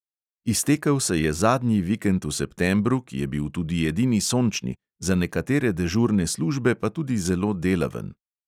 Iztekel se je zadnji vikend v septembru, ki je bil tudi edini sončni, za nekatere dežurne službe pa tudi zelo delaven.